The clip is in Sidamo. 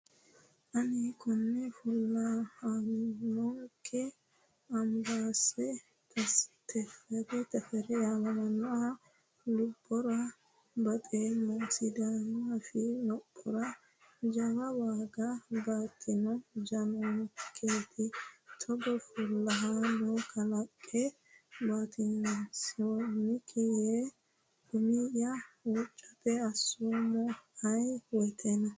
Ani kone fulahanchonke Ambessa Tefere yaammamanoha lubbora baxeemmo sidaamu afii lophora jawa waaga baatino jannanketi togo fullahano kaaliiqi batisonke yee umiya huuccatto asseemmo ayee woyteno.